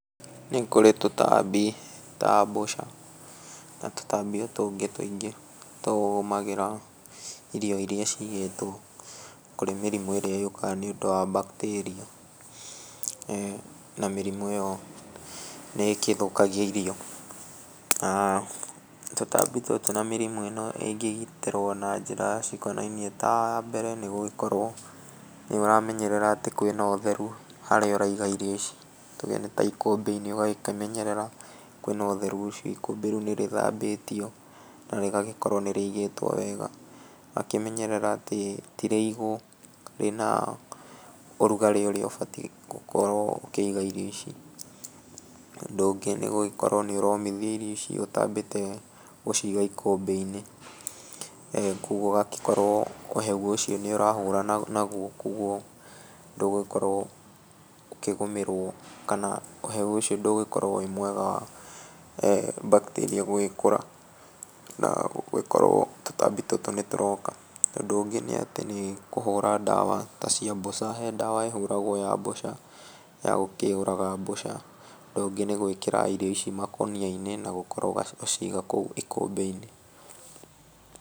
Nĩkũrĩ tũtambi ta mbũca na tũtambi tũngĩ tũingĩ tũgũmagĩra irio irĩa cigĩtwo kũrĩ mĩrimũ ĩrĩa yũkaga nĩ ũndũ wa bacteria .Eh na mĩrimũ ĩyo nĩ gĩthũkagia irio na tũtambi tũtũ na mĩrimũ ĩno ĩngĩgitĩrwo na njĩra cikonainie ta ya mbere nĩgũkorwo nĩ ũramenyerera atĩ kwĩna ũtheru harĩa ũraiga irio ici tuge nĩ ta ikũmbi -inĩ ũgagĩkĩmenyerera kwĩ ũtheru ũcio ikũmbi -inĩ rĩu nĩ rĩthambĩtio nĩ rĩgagĩkorwo nĩrĩigĩtwo wega. Ũgakĩmenyerera atĩ tirĩigũ rĩnae ũrugarĩ ũrĩa ũbatiĩ gũkĩiga irio ici. ũndũ ũngĩ nĩgũgĩkora nĩ ũromithia irio icio ũtambĩte gũciga ikũmbi -inĩ. Koguo ũgagĩkorwo ũhehu ũcio nĩ ũrahũrana naguo koguo ndũgũgĩkorwo ũkĩgũmĩrwo kana ũhehu ũcio ndũgũgĩkorwo wĩ mwega bacteria gũgĩkũra nagũkora tũtambi tũtũ nĩtũroka. Ũndũ ũngĩ nĩ atĩ kũhũra ndawa ta cia mboca he ndawa ĩhũragwo ya mbũca ya gũkĩũraga mbũca, ũndũ ũngĩ nĩgwĩkĩra irio ici makũnia -inĩ nagũkorwo gũciga kũu ikũmbi -inĩ.